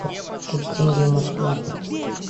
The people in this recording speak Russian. курс тенге москва